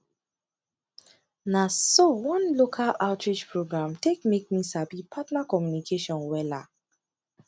na so one local outreach program take make me sabi partner communication wella